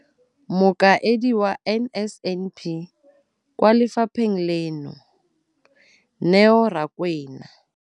Mokaedi wa NSNP kwa lefapheng leno, Neo Rakwena.